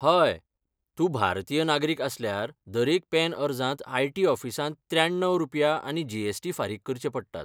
हय, तूं भारतीय नागरीक आसल्यार दरेक पॅन अर्जांत आयटी ऑफिसांत त्र्याण्णव रुपया आनी जीएसटी फारीक करचे पडटात.